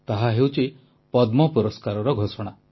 ତାହା ହେଉଛି ପଦ୍ମ ପୁରସ୍କାରର ଘୋଷଣା